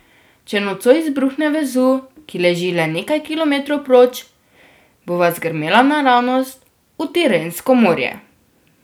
Če nocoj izbruhne Vezuv, ki leži le nekaj kilometrov proč, bova zgrmela naravnost v Tirensko morje.